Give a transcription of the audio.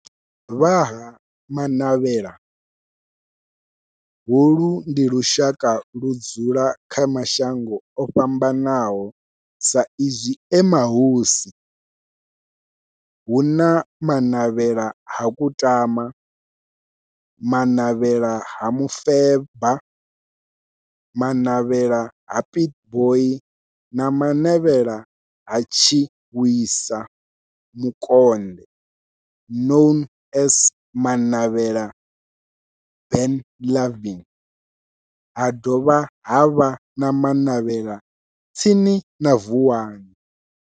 Vha Ha-Manavhela, holu ndi lushaka ludzula kha mashango ofhambanaho sa izwi e mahosi, hu na Manavhela ha Kutama, Manavhela ha Mufeba, Manavhela ha Pietboi na Manavhela ha Tshiwisa Mukonde known as Manavhela Benlavin, ha dovha havha na Manavhela tsini na Vuwani.